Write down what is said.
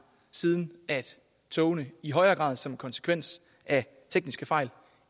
siden togene i højere grad som en konsekvens af tekniske fejl